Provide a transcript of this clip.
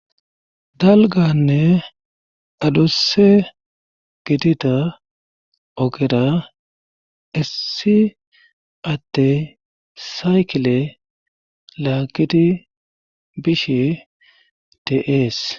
dalganne adusse gidida ogera issi adde saykile laagiti bishe de7ees